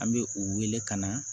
An bɛ u wele ka na